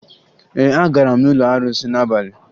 Ee, agara m n'ụlọ arụsị n'abalị